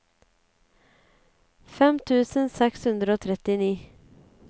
fem tusen seks hundre og trettini